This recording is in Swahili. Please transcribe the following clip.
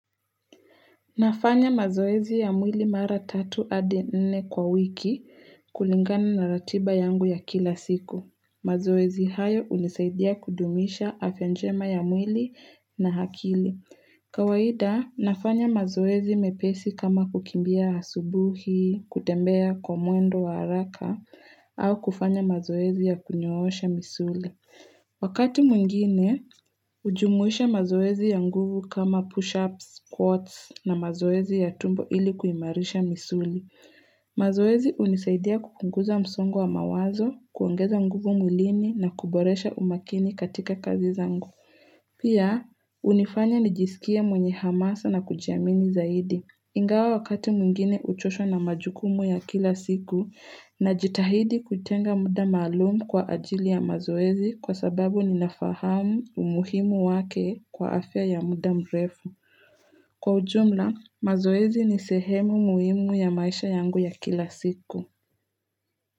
Nafanya mazoezi ya mwili mara tatu adi nne kwa wiki kulingana na ratiba yangu ya kila siku. Mazoezi hayo hunisaidia kudumisha afya njema ya mwili na akili. Kawaida, nafanya mazoezi mepesi kama kukimbia asubui, kutembea kwa mwendo wa haraka, au kufanya mazoezi ya kunyoosha misuli. Wakati mwingine, hujumuisha mazoezi ya nguvu kama push-ups, squats na mazoezi ya tumbo ili kuimarisha misuli. Mazoezi hunisaidia kupunguza msongo wa mawazo, kuongeza nguvu mwilini na kuboresha umakini katika kazi zangu. Pia, hunifanya nijisikie mwenye hamasa na kujiamini zaidi. Ingawa wakati mwingine huchoshwa na majukumu ya kila siku najitahidi kutenga muda maalum kwa ajili ya mazoezi kwa sababu nina fahamu umuhimu wake kwa afya ya muda mrefu. Kwa ujumla, mazoezi ni sehemu muhimu ya maisha yangu ya kila siku.